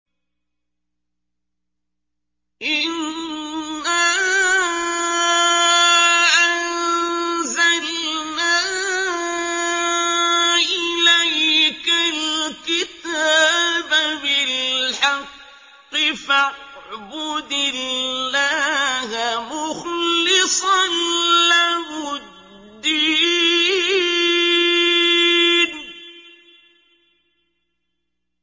إِنَّا أَنزَلْنَا إِلَيْكَ الْكِتَابَ بِالْحَقِّ فَاعْبُدِ اللَّهَ مُخْلِصًا لَّهُ الدِّينَ